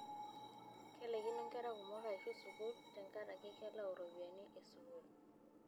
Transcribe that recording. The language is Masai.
Kelaikino nkera kumok aaishu sukuul tenkaraki kelau ropiyiani e sukuul.